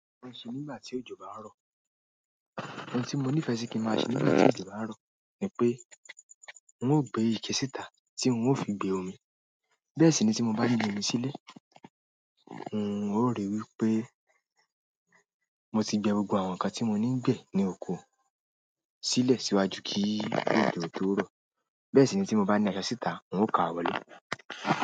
Ohun tí mo ní ìfẹ́ si kí ń máa ṣe nígbà tí òjò bá ń rọ̀ ni pé n ó gbé ike síta tí n ó fi gbé omi. Bẹ́ẹ̀ sì ni tí mo bá gbé omi sílẹ̀, n ó rí i wí pé mo ti gbé gbogbo àwọn ǹkan tí mo ní ń gbé ní oko sílẹ̀ síwájú kí ní òjò tó rọ̀. Bẹ́ẹ̀ sì ni tí mo bá ní àso síta n ó ka wọlé.